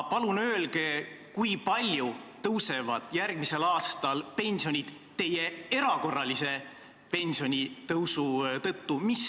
Aga kui palju tõusevad järgmisel aastal pensionid teie erakorralise pensionitõusu tõttu?